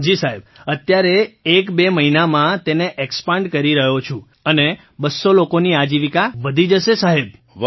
મંજૂરજી જી સાહેબ અત્યારે એકબે મહિનામાં તેને એક્સપેન્ડ કરી રહ્યો છું અને 200 લોકોની આજીવિકા વધી જશે સાહેબ